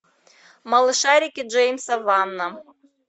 малышарики джеймса вана